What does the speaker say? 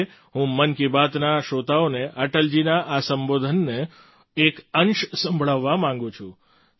આજે હું મન કી બાતના શ્રોતાઓને અટલજીના આ સંબોધનનો એક અંશ સંભળાવવા માગું છું